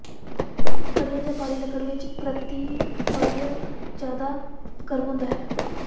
ਘਟੀਆ ਜਾਂ ਭਾਰੀ ਲੱਕੜ ਵਿੱਚ ਪ੍ਰਤੀ ਵਾਲੀਅਮ ਜ਼ਿਆਦਾ ਗਰਮ ਹੁੰਦਾ ਹੈ